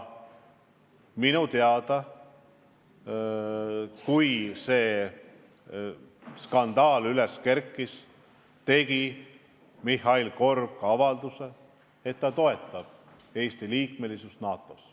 Ja kui see skandaal üles kerkis, tegi Mihhail Korb ka avalduse, et ta toetab Eesti liikmesust NATO-s.